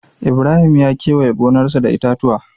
Ibrahim ya kewaye gonarsa da itatuwa.